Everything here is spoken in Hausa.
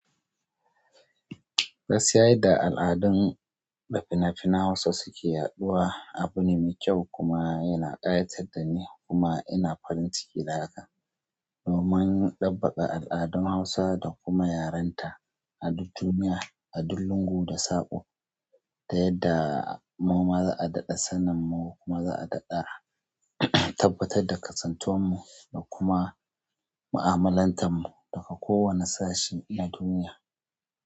Gaskiya yadda al'adun da fina-finan Hausa su ke yaɗuwa abu ne mai kyau kuma ya na ɗayatar da ni kuma ina farin ciki da haka. Domin ɗabbaka al'adun Hausa da kuma yarenta a duk duniya, a duk lungu da sako, ta yadda mu ma za'a daɗa sanin mu kuma za'a daɗa. Tabbatar da kasantuwar mu da kuma mu'amalantar mu daga kowane sashi na duniya.